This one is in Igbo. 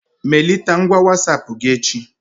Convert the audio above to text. Melite ngwa Wasapụ gị echi